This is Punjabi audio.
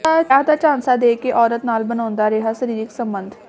ਵਿਆਹ ਦਾ ਝਾਂਸਾ ਦੇ ਕੇ ਔਰਤ ਨਾਲ ਬਣਾਉਂਦਾ ਰਿਹਾ ਸਰੀਰਕ ਸੰਬੰਧ